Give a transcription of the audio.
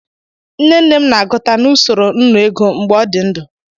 Nne nne m na-agụta na usoro nnụ ego mgbe ọ dị ndụ.